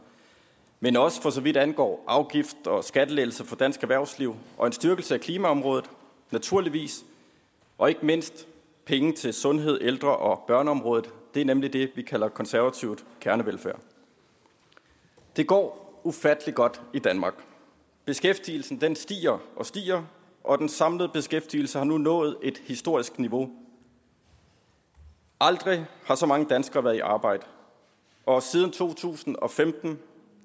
men også for så vidt angår afgifts og skattelettelser for dansk erhvervsliv og en styrkelse af klimaområdet naturligvis og ikke mindst penge til sundhed ældre og børneområdet det er nemlig det vi kalder konservativ kernevelfærd det går ufattelig godt i danmark beskæftigelsen stiger og stiger og den samlede beskæftigelse har nu nået et historisk niveau aldrig har så mange danskere været i arbejde og siden to tusind og femten